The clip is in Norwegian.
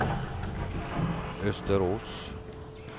Østerås